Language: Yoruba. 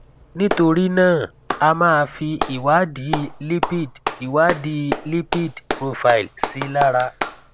nítorí náà a máa fi ìwádìí lipid ìwádìí lipid profile sí lára